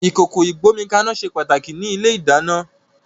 Ìkòkò ìgbómikaná ṣe pàtàkì ní ilé-ìdáná